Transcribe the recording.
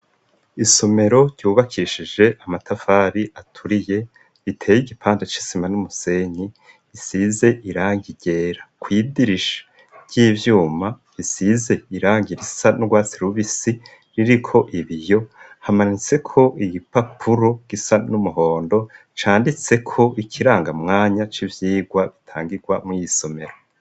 Isomero ryubakishije amatafari aturiye, iteye igipande c'isima n'umusenyi isize irangi ryera kwidirisha ry'ivyuma isize irangi risa n'urwatsi rubisi ririko ibiyo hamanitse ko igipapuro gisa n'umuhondo canditse ko ikirangamwanya c'ibyigwa bitangirwa mu y'isomero.